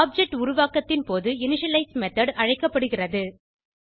object உருவாக்கத்தின் போது initialize method அழைக்கப்படுகிறது